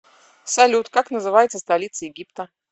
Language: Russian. салют как называется столица египта